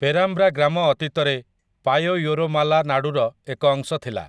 ପେରାମ୍ବ୍ରା ଗ୍ରାମ ଅତୀତରେ 'ପାୟୟୋରମାଲା ନାଡୁ'ର ଏକ ଅଂଶ ଥିଲା ।